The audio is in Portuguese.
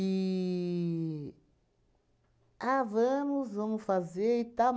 Ah, vamos, vamos fazer e tal.